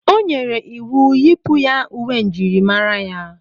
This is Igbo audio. O nyere iwu, Yipụ ya uwe njirimara!